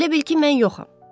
Elə bil ki, mən yoxam.